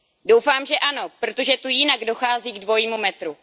Doufám, že ano, protože tu jinak dochází k dvojímu metru.